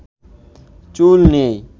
চুল নেই